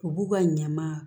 U b'u ka ɲaman